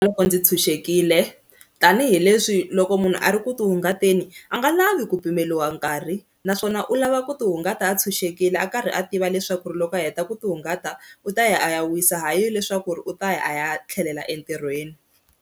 Loko ndzi tshunxekile tanihileswi loko munhu a ri ku ti hungateni a nga lavi ku pimeriwa nkarhi naswona u lava ku ti hungata a tshunxekile a karhi a tiva leswaku ri loko a heta ku ti hungata u ta ya a ya wisa hayi leswaku ri u ta ya a ya tlhelela entirhweni.